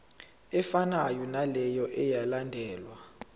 efanayo naleyo eyalandelwa